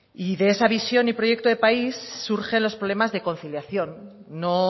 y de esa visión y proyecto de país surgen los problemas de conciliación no